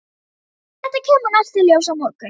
Þetta kemur allt í ljós á morgun.